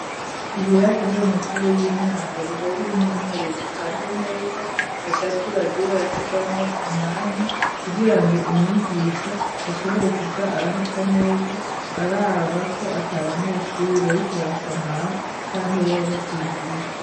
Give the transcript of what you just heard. Ibirasi vy'amashure y'intango biba birimwo intebe zipanze neza hagati bagiye barasigamwo umwanya kugira ngo umwigisha ashobore kuja arahaca neza arabako ata abanyeshure ariko barasamara canka iyo basinziriye.